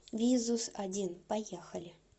визус один поехали